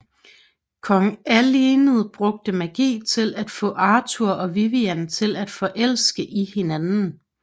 Kong Alined bruger magi til at få Arthur og Vivian til at forelske i hinanden